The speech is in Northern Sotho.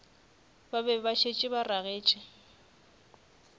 be ba šetše ba ragetše